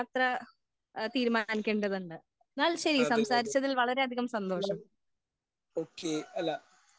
തീരുമാനിക്കേണ്ടതുണ്ട് എന്നാൽ ശരി സംസാരിച്ചതിന് വളരെ അതികം സന്തോഷം